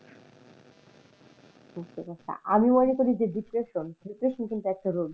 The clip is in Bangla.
আমি মনে করি depression depression কিন্তু একটা রোগ যেটা মনের ওপর,